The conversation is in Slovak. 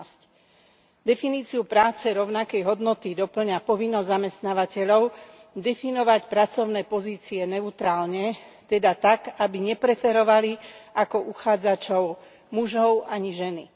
11. Definíciu práce rovnakej hodnoty dopĺňa povinnosť zamestnávateľov definovať pracovné pozície neutrálne, teda tak, aby nepreferovali ako uchádzačov mužov ani ženy.